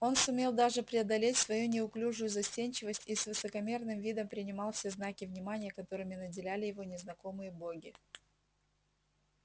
он сумел даже преодолеть свою неуклюжую застенчивость и с высокомерным видом принимал все знаки внимания которыми наделяли его незнакомые боги